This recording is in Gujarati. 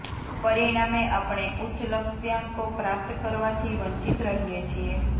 પરિણામે આપણે ઉચ્ચ લક્ષ્યાંકો પ્રાપ્ત કરવાથી વંચિત રહીએ છીએ